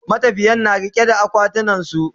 matafiyan na riƙe da akwatunan su